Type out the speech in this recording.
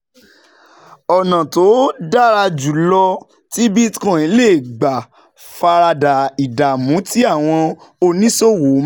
Ọ̀nà tó dára jù lọ tí Bitcoin lè gbà fara da ìdààmú tí àwọn oníṣòwò máa